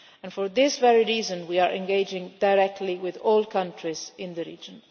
For this reason we are engaging directly with all countries in the region.